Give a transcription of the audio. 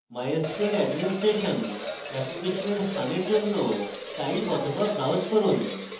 mysql administration অ্যাপ্লিকেশনের স্থানের জন্য type অথবা browse করুন